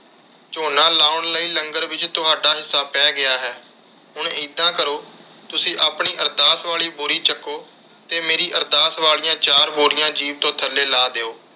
ਝੋਨਾ ਲਾਉਣ ਲਈ ਲੰਗਰ ਵਿਚ ਤੁਹਾਡਾ ਹਿੱਸਾ ਪੈ ਗਿਆ ਹੈ। ਹੁਣ ਇੱਦਾਂ ਕਰੋ ਤੁਸੀਂ ਆਪਣੀ ਅਰਦਾਸ ਵਾਲੀ ਬੋਰੀ ਚਕੋ ਤੇ ਮੇਰੀ ਅਰਦਾਸ ਵਾਲੀਆਂ ਚਾਰ ਬੋਰੀਆਂ ਜੀਪ ਤੋਂ ਥੱਲੇ ਲਾਹ ਦਿਓ।